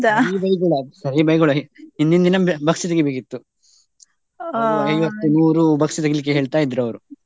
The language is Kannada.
ಸರಿ ಬೈಗುಳ, ಸರಿ ಬೈಗುಳ ಹಿಂದಿನ್ ದಿನ ಬಸ್ಕಿ ತೆಗಿಬೇಕಿತ್ತು. ನೂರು ಬಸ್ಕಿ ತೆಗೀಲಿಕ್ಕೆ ಹೇಳ್ತ ಇದ್ರು ಅವ್ರು.